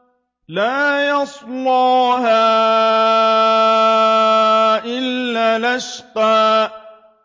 لَا يَصْلَاهَا إِلَّا الْأَشْقَى